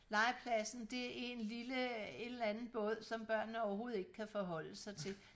legepladsen det er en lille en eller anden båd som børnene overhovedet ikke kan forholde sig til